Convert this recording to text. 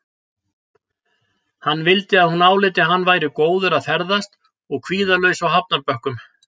Hann vildi að hún áliti að hann væri góður að ferðast og kvíðalaus á hafnarbökkum.